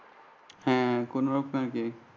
হ্যাঁ কোনরকম আরকি